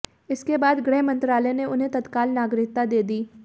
इसके बाद गृहमंत्रालय ने उन्हें तत्काल नागरिकता दे दी